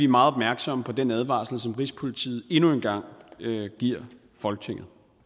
meget opmærksomme på den advarsel som rigspolitiet endnu en gang giver folketinget